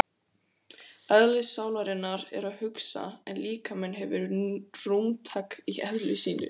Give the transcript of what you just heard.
Eðli sálarinnar er að hugsa en líkaminn hefur rúmtak í eðli sínu.